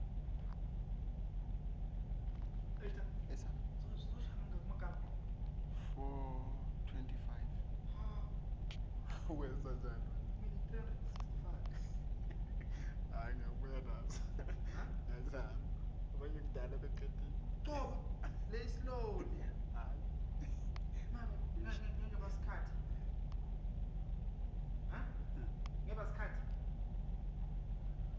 futsi ungevakali kahle